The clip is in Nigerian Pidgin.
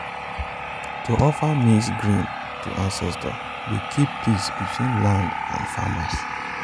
to offer maize grain to ancestors dey help keep peace between land and farmer.